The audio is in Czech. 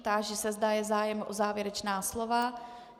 Táži se, zda je zájem o závěrečná slova.